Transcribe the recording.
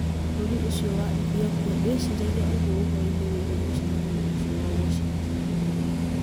Bũrũri wa Ethiopia ndwĩciragia ũguo ũhoro-inĩ wĩgiĩ mũcemanio ũcio wa Washington.